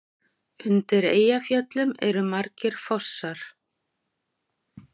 Undir Eyjafjöllum eru margir fossar.